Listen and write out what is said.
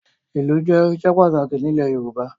Ìlù jẹ́ irinṣẹ́ pàtàkì nílẹ̀ Yorùbá